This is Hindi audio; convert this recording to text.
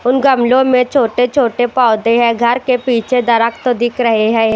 उन गमलों में छोटे-छोटे पौधे हैं घर के पीछे दरख तो दिख रहे हैं।